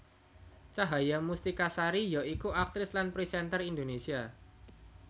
Cahaya Mustika Sari ya iku aktris lan presenter Indonésia